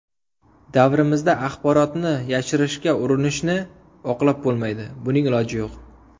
Davrimizda axborotni yashirishga urinishni oqlab bo‘lmaydi, buning iloji yo‘q.